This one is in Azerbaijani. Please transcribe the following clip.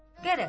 Qərəz,